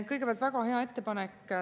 Kõigepealt väga hea ettepanek.